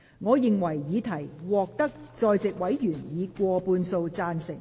我認為議題獲得在席委員以過半數贊成。